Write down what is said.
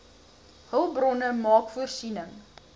hulpbronne maak voorsiening